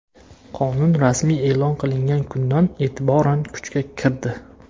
Qonun rasmiy e’lon qilingan kundan e’tiboran kuchga kirdi.